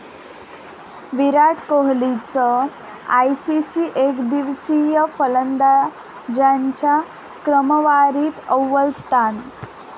विराट कोहलीचं आयसीसी एकदिवसीय फलंदाजांच्या क्रमवारीत अव्वल स्थान